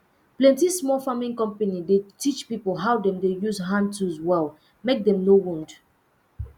plenty small farming company dey teach pipo how dem de use hand tools well mek dem no wound